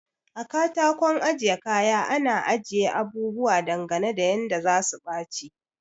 A katakon ajiye kaya ana ajiye abubuwa dangane da yanda zasu baci